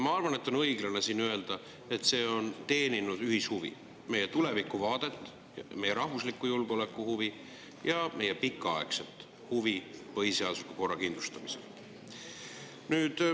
Ma arvan, et on õiglane öelda, et see on teeninud ühishuvi, meie tulevikuvaadet, meie rahvusliku julgeoleku huvi ja meie pikaaegset huvi põhiseadusliku korra kindlustamisel.